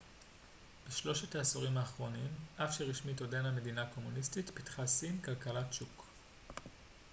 בשלושת העשורים האחרונים אף שרשמית עודנה מדינה קומוניסטית פיתחה סין כלכלת שוק